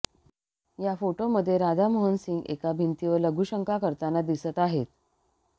या फोटोमध्ये राधामोहन सिंह एका भिंतीवर लघुशंका करताना दिसत आहेत